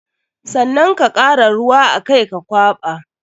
Sannan ka kara ruwa a kai ka kwaɓa.